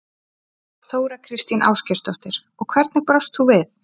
Þóra Kristín Ásgeirsdóttir: Og hvernig brást þú við?